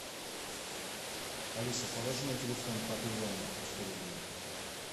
алиса положи на телефон папе ване сто рублей